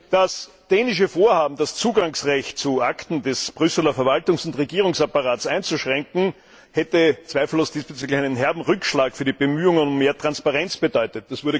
Das dänische Vorhaben, das Zugangsrecht zu Akten des Brüsseler Verwaltungs und Regierungsapparats einzuschränken, hätte zweifellos diesbezüglich einen herben Rückschlag für die Bemühungen um mehr Transparenz bedeutet.